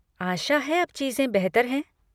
आशा है अब चीज़ें बेहतर हैं?